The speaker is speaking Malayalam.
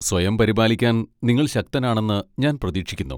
സ്വയം പരിപാലിക്കാൻ നിങ്ങൾ ശക്തനാണെന്ന് ഞാൻ പ്രതീക്ഷിക്കുന്നു.